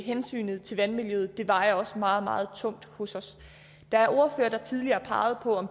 hensynet til vandmiljøet vejer også meget meget tungt hos os der er ordførere der tidligere har peget på